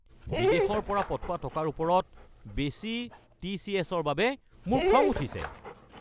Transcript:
বিদেশৰ পৰা পঠোৱা টকাৰ ওপৰত বেছি টিচিএছ-ৰ বাবে মোৰ বৰ খং উঠিছে।